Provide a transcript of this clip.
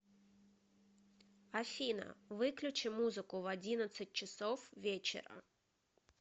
афина выключи музыку в одиннадцать часов вечера